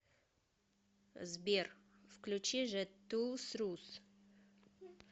сбер включи жет тоолз рус